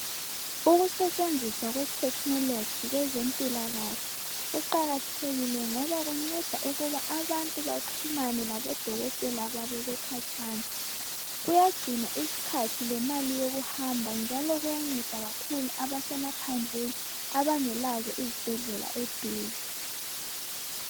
Ukusetshenziswa kwe-technology kwezimpilakahle kuqakathekile ngoba kunceda ukuba abantu baxhumane labodokoteka babo bekhatshana. Kuyagcina isikhathi lemali yokuhamba njalo kuyanceda kakhulu abasemaphandleni abangelazo izibhedlela eduze.